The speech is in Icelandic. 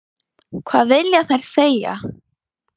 Hvað vilja þær segja?